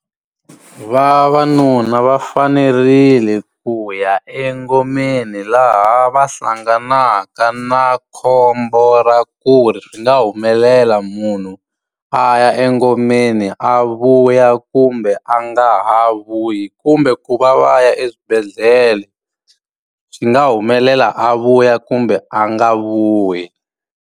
Vavanuna va fanerile ku ya engomeni laha va hlanganaka na khombo ra ku ri swi nga humelela munhu a ya engomeni a vuya kumbe a nga ha vuyi, kumbe ku va va ya eswibedhlele. Swi nga humelela a vuya kumbe a nga vuyi.